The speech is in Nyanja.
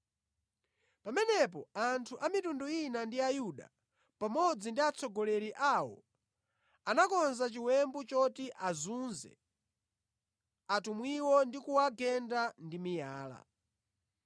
Pamenepo anthu a mitundu ina ndi Ayuda, pamodzi ndi atsogoleri awo anakonza chiwembu choti azunze atumwiwo ndi kuwagenda ndi miyala.